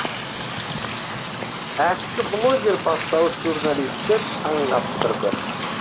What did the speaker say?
әккі блогер бастауыш журналистті шаң қаптырды